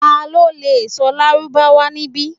Talo le sọ lárúbáwá nibi?